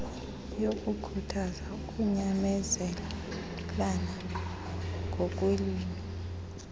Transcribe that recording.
yokukhuthaza ukunyamezelana ngokweelwimi